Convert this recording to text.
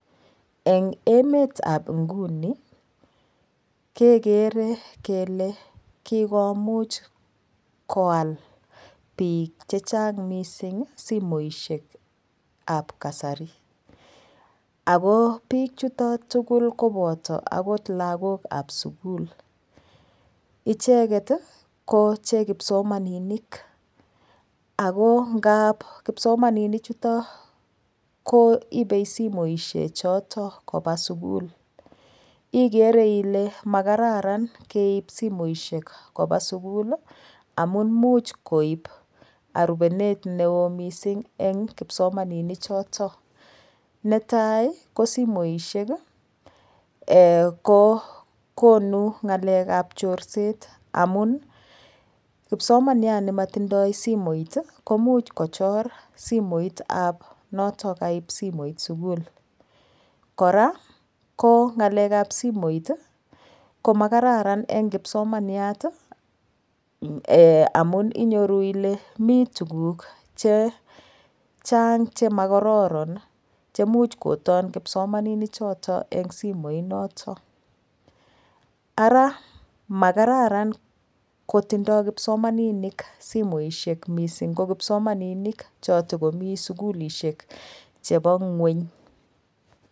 Eng emet ap nguni kekerer kele kokomuch koal biik chechang missing simoshek ap kasari ako biichuto tukul koboto akot lakok ab sukul icheket ko che kipsomaninik ako ngap kipsomaninik chuto ko ibei simoshek choto koba sukul igere ile makaratan keip simoiahek koba sukul amun muuch koip arubonet neo mising eng kipsomaninik choto netai ko simoishek ko konu ng'alek ap chorset amun kipsomaniat nimatindoi simoit komuch kochor simoit ap noto kaip simoit sukul kora ko ngalek ap simoit ko makaratan eng kipsomaniat amun inyoru ile mii tukuk che chang chemokororon che muuch koton kipsomaninik choto eng simoit noton ara makararan kotindoi kipsomaninik simoishek mising ko kipsomaninik cho tokomi sukulishek chebo ng'weny.